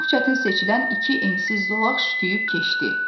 Çox çətin seçilən iki ensiz zolaq şütüyüb keçdi.